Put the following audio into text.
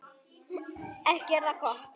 Ekki er það gott.